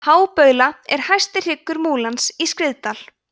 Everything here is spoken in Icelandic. hábaula er hæsti hryggur múlans í skriðdal